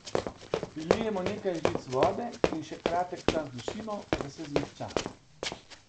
Prilijemo nekaj žlic vode in še kratek čas dušimo, da se zmehča.